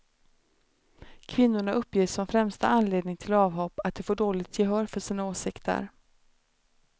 Kvinnorna uppger som främsta anledning till avhopp att de får dåligt gehör för sina åsikter.